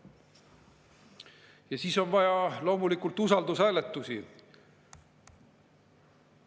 Ja siis on vaja loomulikult usaldushääletusi.